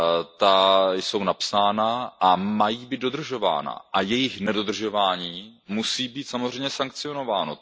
Ta jsou napsána a mají být dodržována a jejich nedodržování musí být samozřejmě sankciováno.